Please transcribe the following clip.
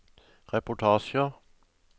reportasjer